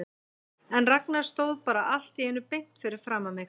En Ragnar stóð bara allt í einu beint fyrir framan mig.